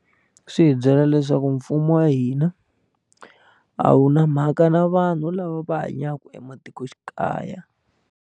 Swi hi byela leswaku mfumo wa hina a wu na mhaka na vanhu lava va hanyaka ematikoxikaya.